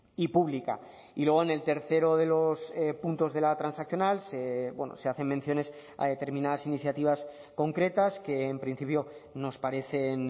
y pública y luego en el tercero de los puntos de la transaccional se hacen menciones a determinadas iniciativas concretas que en principio nos parecen